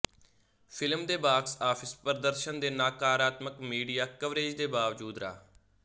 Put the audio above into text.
film ਦੇ box office ਪ੍ਰਦਰਸ਼ਨ ਦੇ ਨਕਾਰਾਤਮਕ ਮੀਡਿਆ ਕਵਰੇਜ ਦੇ ਬਾਵਜੂਦ ਰਾ